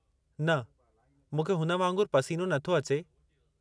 न, मूंखे हुन वांगुरु पसीनो नथो अचे।